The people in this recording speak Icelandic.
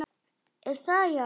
Er það, já?